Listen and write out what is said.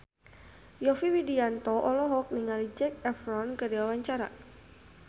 Yovie Widianto olohok ningali Zac Efron keur diwawancara